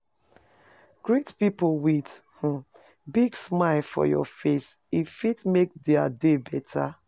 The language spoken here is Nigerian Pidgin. Greet pipo with um big smile for your face, e fit make dia day beta.